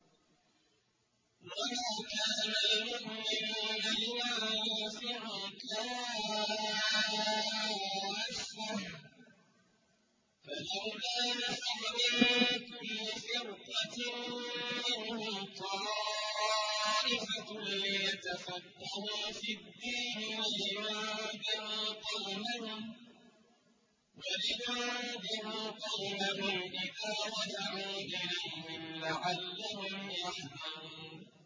۞ وَمَا كَانَ الْمُؤْمِنُونَ لِيَنفِرُوا كَافَّةً ۚ فَلَوْلَا نَفَرَ مِن كُلِّ فِرْقَةٍ مِّنْهُمْ طَائِفَةٌ لِّيَتَفَقَّهُوا فِي الدِّينِ وَلِيُنذِرُوا قَوْمَهُمْ إِذَا رَجَعُوا إِلَيْهِمْ لَعَلَّهُمْ يَحْذَرُونَ